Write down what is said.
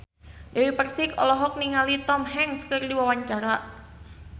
Dewi Persik olohok ningali Tom Hanks keur diwawancara